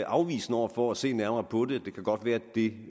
afvisende over for at se nærmere på det det kan godt være at det